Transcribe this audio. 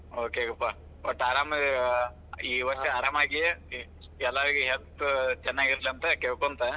Okay ಪಾ ಒಟ್ಟ ಆರಾಮ ಈ ವಷ೯ ಆರಾಮಾಗಿ ಎಲ್ಲಾರಗೂ health ಚೆನ್ನಾಗಿರಲಿ ಅಂತ ಕೇಳಕೊಂತ.